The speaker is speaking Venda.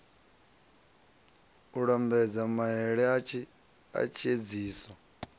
u lambedza maele a tshiedziso